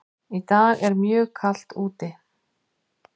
Í dag er mjög kalt úti.